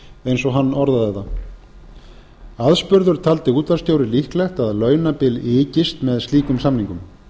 eins og hann orðaði það aðspurður taldi útvarpsstjóri líklegt að launabil ykist með slíkum samningum